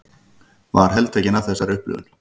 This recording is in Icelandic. Var heltekin af þessari upplifun.